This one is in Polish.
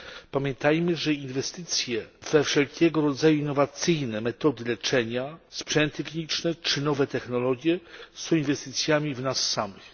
Pamiętajmy, że inwestycje we wszelkiego rodzaju innowacyjne metody leczenia, sprzęty kliniczne czy nowe technologie są inwestycjami w nas samych.